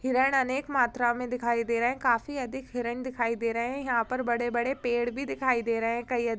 हिरण अनेक मात्रा में दिखाई दे रहे हैं काफी अधिक हिरण दिखाई दे रहे हैं यहां पर बड़े-बड़े पेड़ भी दिखाई दे रहे हैं कई अ--